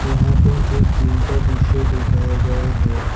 यहां पे एक जिम का दृश्य दिखाया गया है।